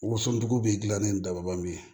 Woson dugu bɛ gilanni dabali bilen